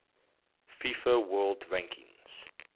fifa world rankings